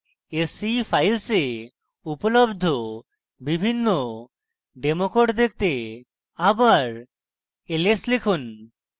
sce files উপলব্ধ বিভিন্ন demo code দেখতে আবার ls লিখুন